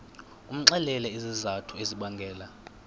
umxelele izizathu ezibangela